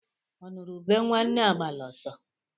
Ọ nụrụ ube nwanne agbala ọsọ